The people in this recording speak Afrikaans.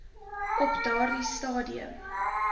op daardie stadium